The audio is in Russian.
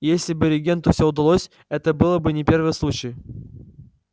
и если бы регенту всё удалось это было бы не первый случай